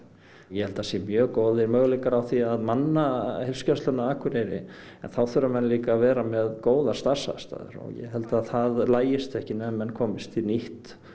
ég held að það séu mjög góðir möguleikar á því að manna heilsugæsluna á Akureyri en þá þurfa menn líka að vera með góðar starfsaðstæður og ég held að það lagist ekki nema menn komist í nýtt